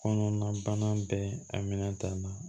Kɔnɔnabana bɛɛ a minɛn ta na